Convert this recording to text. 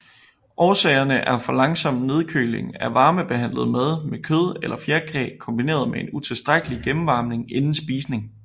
Årsagerne er for langsom nedkøling af varmebehandlet mad med kød eller fjerkræ kombineret med utilstrækkelig gennemvarmning inden spisning